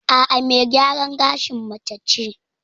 A'a, me gyaran gashin mace ce.